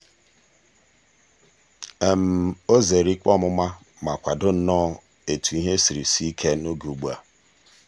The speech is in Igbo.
o zeere ikpe ọmụma ma kwado nnọọ etu ihe siri sie ike n'oge ugbu a.